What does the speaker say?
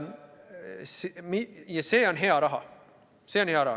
Ja see on hea raha.